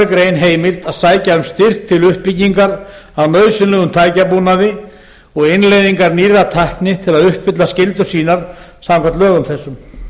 grein heimilt að sækja um styrk til uppbyggingar á nauðsynlegum tækjabúnaði og innleiðingar nýrrar tækni til að uppfylla skyldur sínar samkvæmt lögum þessum